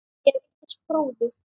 Ég hef eignast bróður.